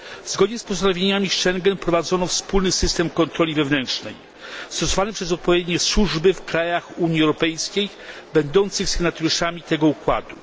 Zgodnie z postanowieniami z Schengen wprowadzono wspólny system kontroli wewnętrznej stosowany przez odpowiednie służby w krajach Unii Europejskiej będących sygnatariuszami tego układu.